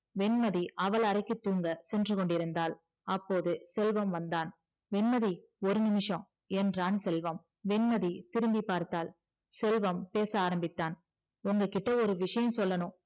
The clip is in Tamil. வெண்மதி அவள் அறைக்கு தூங்க சென்றுகொண்டிருந்தாள் அப்போது செல்வம் வந்தான் வெண்மதி ஒரு நிமிஷம் என்றான் செல்வம் வெண்மதி திரும்பிபார்த்தால் செல்வம் பேச ஆரம்பிச்சான் உங்க கிட்ட ஒரு விஷயம் சொல்லணும்